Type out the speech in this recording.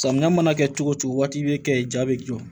Samiya mana kɛ cogo cogo waati i be kɛ ja be jɔ